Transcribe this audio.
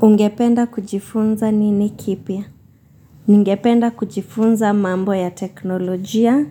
Ungependa kujifunza nini kipya? Ningependa kujifunza mambo ya teknolojia